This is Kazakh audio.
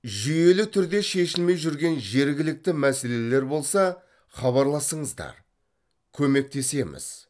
жүйелі түрде шешілмей жүрген жергілікті мәселелер болса хабарласыңыздар көмектесеміз